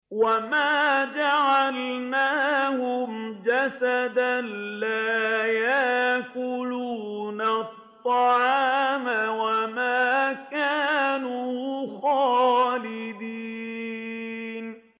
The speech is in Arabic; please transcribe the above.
وَمَا جَعَلْنَاهُمْ جَسَدًا لَّا يَأْكُلُونَ الطَّعَامَ وَمَا كَانُوا خَالِدِينَ